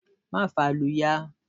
Má fa ìlù ya!